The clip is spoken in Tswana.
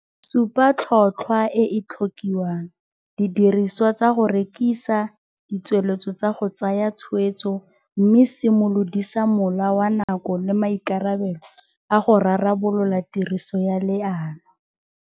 Supa tlhotlhwa e e tlhokiwang, didirisiwa tsa go rekisa, ditsweletso tsa go tsaya tshwetso mme simolodisa mola wa nako le maikarabelo a go rarabolola tiriso ya leano.